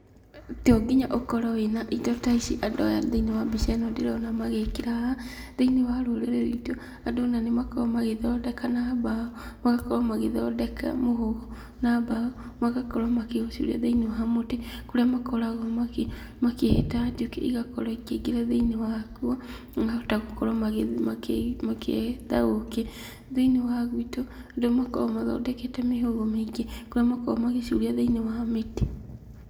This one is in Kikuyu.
To nginya ũkorwo wĩna indo ta ici andũ aya thĩinĩ wa mbica ĩno ndĩrona magĩkĩra haha, thĩinĩ wa rũrĩrĩ rwitũ, andũ ona nĩ makoragwo magĩthondeka na mbaũ, magakorwo magĩthondeka mũhũgũ na mbaũ, magakorwo makĩũcuria thĩinĩ wa mũtĩ, kũrĩa makoragwo magĩ makĩhĩta njũkĩ igakorwo ikĩingĩra thĩinĩ waguo, makahota gũkorwo makĩhĩta ũkĩ, thĩinĩ wa gwitũ, andũ nĩ makoragwo mathondekete mĩhũgũ mĩingĩ, kũrĩa makoragwo magĩcuria thĩinĩ wa mĩtĩ.